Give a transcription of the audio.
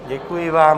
Děkuji vám.